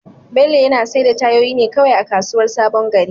Bello yana saida tayoyin ne kawai a kasuwar sabon gari.